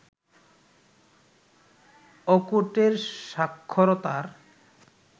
অকোটের সাক্ষরতার